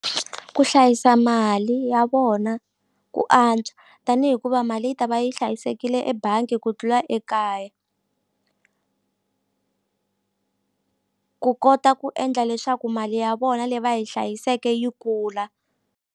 Ku hlayisa mali ya vona ku antswa tani hikuva mali yi ta va yi hlayisekile ebangi ku tlula ekaya ku kota ku endla leswaku mali ya vona leyi va yi hlayiseke yi kula.